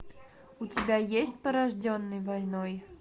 у тебя есть порожденный войной